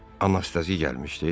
Anastasiya gəlmişdi?